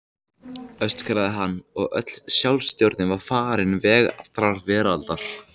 öskraði hann, og öll sjálfstjórn var farin veg allrar veraldar.